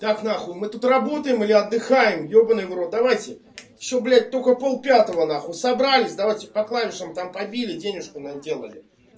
так на хуй мы тут работаем или отдыхаем ебанный в рот давайте все блять только полпятого на хуй собрались давайте по клавишам там побили денежку наделали